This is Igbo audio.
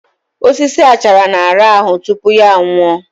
Osisi achara na-arahụ tupu ya nwụọ